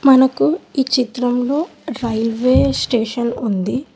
మనకు ఈ చిత్రంలో రైల్వే స్టేషన్ ఉంది.